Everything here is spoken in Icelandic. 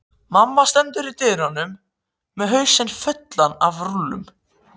Mamma stendur í dyrunum með hausinn fullan af rúllum.